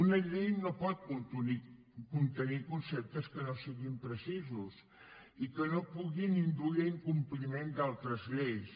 una llei no pot contenir conceptes que no siguin precisos i que puguin induir a incompliment d’altres lleis